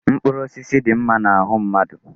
Mkpụrụ osisi dị mma n'ahụ mmadụ.